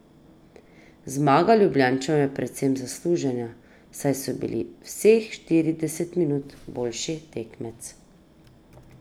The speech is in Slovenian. Zmaga Ljubljančanov je povsem zaslužena, saj so bili vseh štirideset minut boljši tekmec.